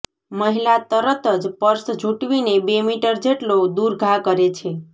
મહિલા તરત જ પર્સ જૂંટવીને બે મીટર જેટલો દૂર ઘા કરે છે